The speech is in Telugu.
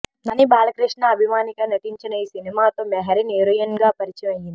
నాని బాలకృష్ణ అభిమానిగా నటించిన ఈ సినిమాతో మెహరీన్ హీరోయిన్ గా పరిచయం అయ్యింది